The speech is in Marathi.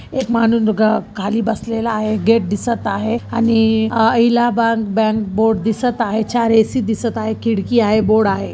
एक माणूस दुका खाली बसलेला आहे गेट दिसत आहे आणि अ हिलाबाद बँक बोर्ड दिसत आहे चार ए_सी दिसत आहे खिडकी आहे बोर्ड आहे.